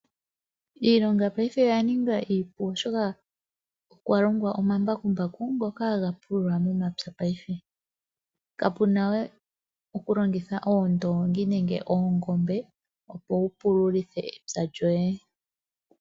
Iilonga paife oya ninga iipu oshoka okwa longwa omambakumbaku ngoka haga pulula momapya. Kapuna we okulongiha oondoongi nenge oongombe, opo wu pululithe epya lyoye.